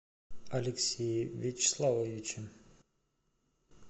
алексее вячеславовиче